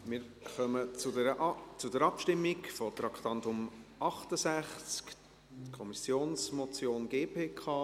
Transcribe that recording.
Wir kommen zur Abstimmung zum Traktandum 68, Kommissionsmotion GPK.